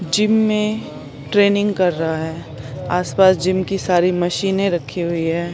Gym में training कर रहा है आस पास जिम की सारी मशीने रखी हुई है।